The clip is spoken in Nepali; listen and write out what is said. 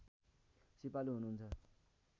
सिपालु हुनुहुन्छ